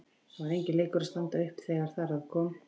Það var enginn leikur að standa upp þegar þar að kom.